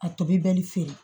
A tobi bɛ ni feere